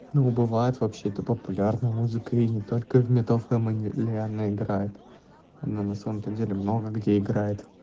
ну бывает вообще это популярная музыка и не только в метал фемелни лиана играет она на самом-то деле много где играет